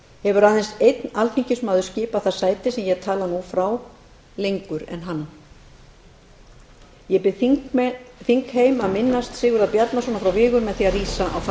hefur aðeins einn alþingismaður skipað það sæti sem ég tala nú frá lengur en hann ég bið þingheim að minnast sigurðar bjarnasonar frá vigur með því að rísa á fætur þingmenn risu úr sætum